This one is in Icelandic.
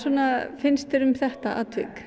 finnst þér um þetta atvik